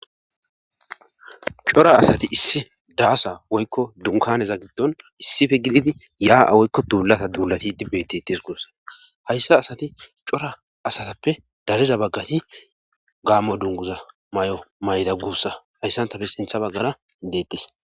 Cora asati issi daasa woykko dunkaneza giddon issife gididi yaa7a woykko duulata duulati dibbetetis guussa hayssa asati cora asatappe dariza baggati gaamo dunguza may7o mayra guussa hayssantappe sintha baggara deettes.